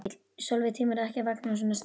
Sólveig: Tímirðu ekki að vakna svona snemma?